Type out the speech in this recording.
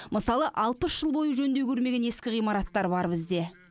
мысалы бізде алпыс жыл бойы жөндеу көрмеген ескі ғимараттар бар бізде